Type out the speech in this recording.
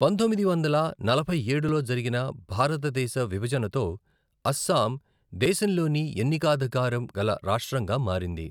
పంతొమ్మిది వందల నలభై ఏడులో జరిగిన భారతదేశ విభజనతో, అస్సాం దేశంలోని ఎన్నికాధికారం గల రాష్ట్రంగా మారింది.